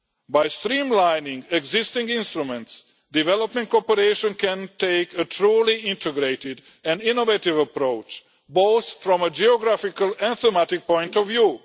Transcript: By streamlining existing instruments, development cooperation can take a truly integrated and innovative approach, both from a geographical and thematic point of view.